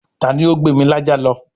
ta ni ó gbé mi lájá lọ?